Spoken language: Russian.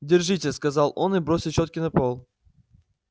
держите сказал он и бросил чётки на пол